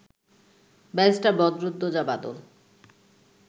barrister Badruddoza Badal